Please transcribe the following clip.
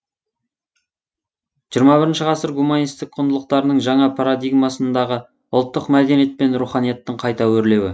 жиырма бірінші ғасыр гуманистік құндылықтарының жаңа парадигмасындағы ұлттық мәдениет пен руханияттың қайта өрлеуі